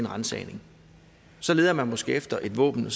ransagning og så leder man måske efter et våben